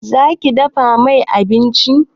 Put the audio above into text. Za ki dafa mai abinci?